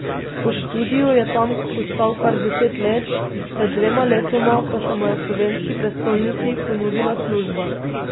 Po študiju je tam ostal kar deset let, pred dvema letoma pa se mu je v slovenski prestolnici ponudila služba.